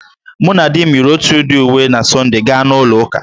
Mụ na di m yiri otu udị uwe na Sọnde gaa na ụlọ ụka